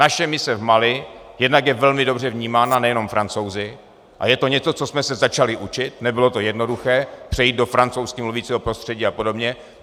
Naše mise v Mali jednak je velmi dobře vnímána nejenom Francouzi a je to něco, co jsme se začali učit, nebylo to jednoduché přejít do francouzsky mluvícího prostředí a podobně.